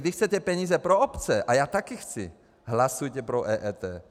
Když chcete peníze pro obce, a já taky chci, hlasujte pro EET.